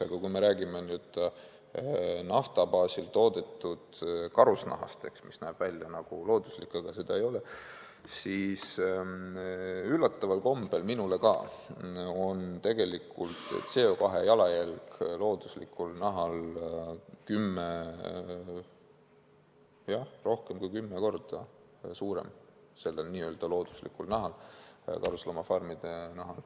Aga kui me räägime nüüd nafta baasil toodetud karusnahast, mis näeb välja nagu looduslik, aga seda ei ole, siis ka mulle üllatusena on tegelikult CO2 jalajälg looduslikul nahal, karusloomafarmide nahal, rohkem kui kümme korda suurem.